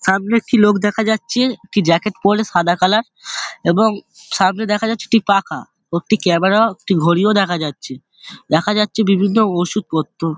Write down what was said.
সামনে একটি লোক দেখা যাচ্ছে একটি জ্যাকেট পরে সাদা কালার এবং সামনে দেখা যাচ্ছে একটি পাখা ও একটি ক্যামেরা ওহ একটি ঘড়িও দেখা যাচ্ছে দেখা যাচ্ছে বিভিন্ন ওষুধ পত্র।